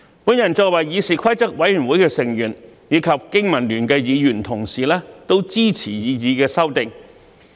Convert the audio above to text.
我作為議事規則委員會成員，以及香港經濟民生聯盟的議員同事也支持擬議修訂。